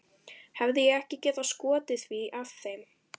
Hefði ég ekki getað skotið því að þeim